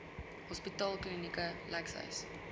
hospitaal klinieke lykshuise